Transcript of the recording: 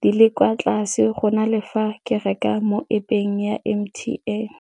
di le kwa tlase go na le fa ke reka mo App-eng ya M_T_N.